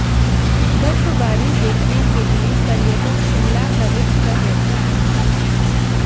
बर्फबारी देखने के लिए पर्यटक शिमला का रुख कर रहे हैं